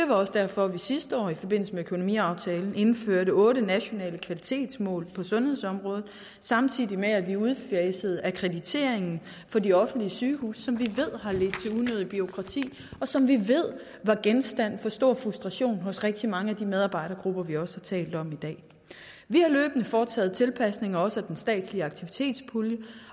var også derfor at vi sidste år i forbindelse med økonomiaftalen indførte otte nationale kvalitetsmål på sundhedsområdet samtidig med at vi udfasede akkrediteringen for de offentlige sygehuse som vi ved har ledt til unødigt bureaukrati og som vi ved var genstand for stor frustration hos rigtig mange af de medarbejdergrupper vi også har talt om i dag vi har løbende foretaget tilpasninger også af den statslige aktivitetspulje